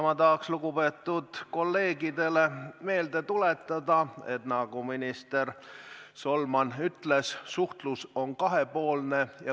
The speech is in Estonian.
Ma tahaks lugupeetud kolleegidele meelde tuletada, et nagu minister Solman ütles, suhtlus on kahepoolne.